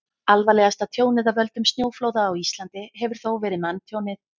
alvarlegasta tjónið af völdum snjóflóða á íslandi hefur þó verið manntjónið